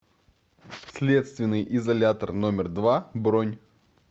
следственный изолятор номер два бронь